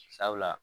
Sabula